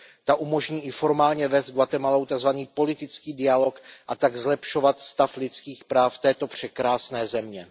Ta umožní i formálně vést s Guatemalou tak zvaný politický dialog a tak zlepšovat stav lidských práv této překrásné země.